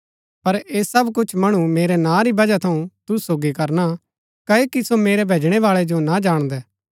पर ऐह सब कुछ मणु मेरै नां री बजह थऊँ तुसु सोगी करना क्ओकि सो मेरै भैजणैवाळै जो ना जाणदै